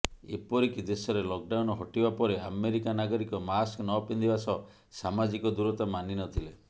ଏପରିକି ଦେଶରେ ଲକଡାଉନ୍ ହଟିବା ପରେ ଆମେରିକା ନାଗରିକ ମାସ୍କ ନପିନ୍ଧିବା ସହ ସାମାଜିକ ଦୂରତା ମାନିନଥିଲେ